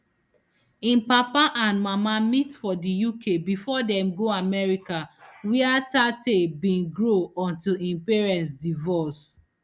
im mama and papa meet for for d uk bifor dem go america wia tate bin grow until im parents divorce